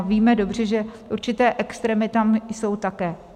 A víme dobře, že určité extrémy tam jsou také.